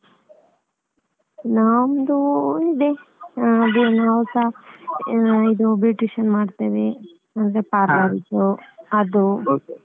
ನಮ್ದು ಇದೆ ಹಾಗೆ ನಾವ್ಸ ಇದು beautician ಮಾಡ್ತೇವೆ ನಮ್ದೇ Parlour ಇದ್ದು ಅದು .